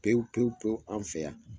Pewu pewu pewu an fɛ yan.